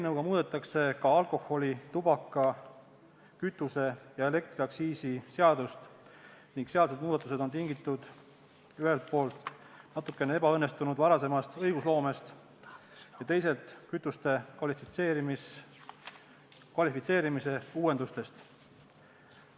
Eelnõuga muudetakse ka alkoholi-, tubaka-, kütuse- ja elektriaktsiisi seadust ning sealsed muudatused on tingitud ühelt poolt varasemast natukene ebaõnnestunud õigusloomest ja teisalt kütuste kvalifitseerimise uuendustest.